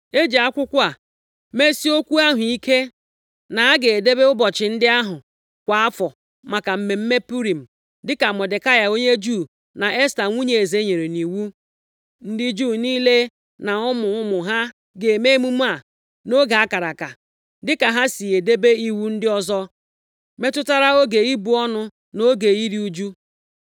E ji akwụkwọ a mesie okwu ahụ ike na a ga-edebe ụbọchị ndị ahụ kwa afọ maka mmemme Purim dịka Mọdekai onye Juu na Esta nwunye eze nyere nʼiwu. Ndị Juu niile na ụmụ ụmụ ha ga-eme mmemme a nʼoge a kara aka, dịka ha si edebe iwu ndị ọzọ metụtara oge ibu ọnụ na oge iru ụjụ.